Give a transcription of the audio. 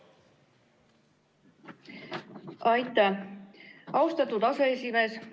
Aitäh, austatud aseesimees!